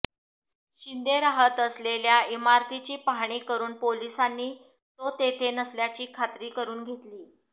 शिंदे राहत असलेल्या इमारतीची पाहणी करून पोलिसांनी तो तेथे नसल्याची खात्री करून घेतली